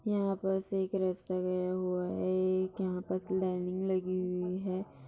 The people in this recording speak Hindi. यहाँ पर से एक रस्ता गया हुआ है एक यहाँ पर लाइनिंग लगी हुई है।